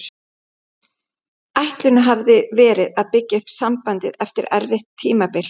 Ætlunin hafði verið að byggja upp sambandið eftir erfitt tímabil.